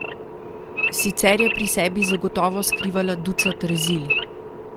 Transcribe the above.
Sicer je pri sebi zagotovo skrivala ducat rezil.